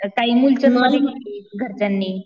काही मूलचंद मधी केली घरच्यांनी.